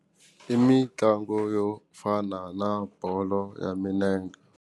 I mitlango yo fana na bolo ya minenge.